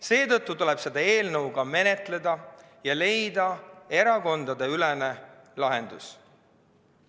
Seetõttu tuleb seda eelnõu menetleda ja leida erakondadeülene lahendus.